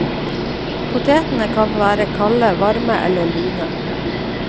Potetene kan være kalde, varme eller lune.